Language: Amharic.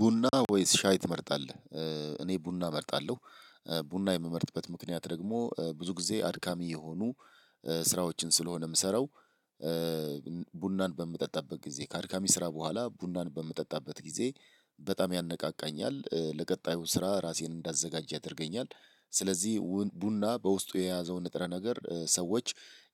ቡና ወይስ ሻይ ትመርጣለህ? እኔ ቡና እመርጣለሁ። ቡና የምመርጥበት ምክንያት ደግሞ ብዙ ጊዜ አድካሚ የሆኑ ስራዎችን ስለሆነ የምሰራው። ቡናን በምጠጣበት ጊዜ ከአድካሚ ስራ በኋላ ቡናን በምጠጣበት ጊዜ በጣም ያነቃቃኛል ለቀጣዩ ስራ ራሴን እንዳዘጋጀ ያደርገኛል። ስለዚህ ቡና በውስጡ የያዘው ንጥረ ነገር ሰዎች